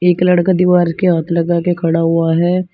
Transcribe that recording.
एक लड़का दीवार के हाथ लगा के खड़ा हुआ है।